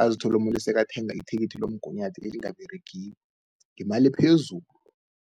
azithole umuntu sekathenga ithikithi lomgunyathi elingaberegiko ngemali ephezulu.